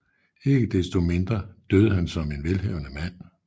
Ikke desto mindre døde han som en velhavende mand